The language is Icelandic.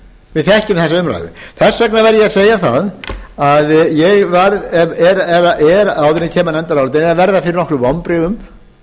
við þekkjum þessa umræðu þess vegna verð ég að segja það að ég er áður en kemur að nefndarálitinu er að verða fyrir nokkrum vonbrigðum